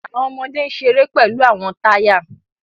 Awọn ọmọde n ṣere pẹlu awọn taya